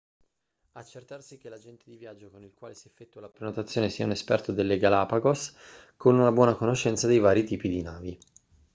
accertarsi che l'agente di viaggio con il quale si effettua la prenotazione sia un esperto delle galapagos con una buona conoscenza dei vari tipi di navi